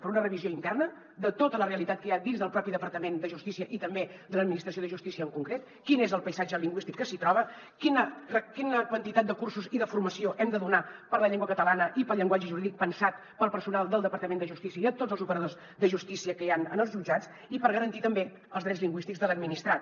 per una revisió interna de tota la realitat que hi ha dins del propi departament de justícia i també de l’administració de justícia en concret quin és el paisatge lingüístic que s’hi troba quina quantitat de cursos i de formació hem de donar per la llengua catalana i pel llenguatge jurídic pensat per al personal del departament de justícia i tots els operadors de justícia que hi han en els jutjats i per garantir també els drets lingüístics de l’administrat